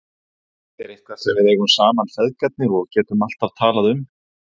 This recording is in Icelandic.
Þetta er eitthvað sem við eigum saman feðgarnir og getum alltaf talað um.